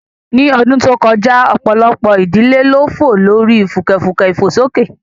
Ní ọdún tó kọjá, ọ̀pọ̀lọpọ̀ ìdílé ló fò lórí fùkẹ̀fùkẹ̀ ìfòsókè